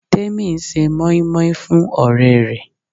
Temi ń ṣe moin-moin fún ọ̀rẹ́ rẹ̀.